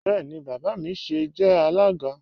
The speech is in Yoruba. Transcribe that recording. Bẹẹni, baba mi sìí jẹ alága.